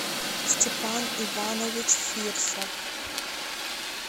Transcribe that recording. степан иванович фирсов